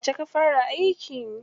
Yauce ka fara aiki?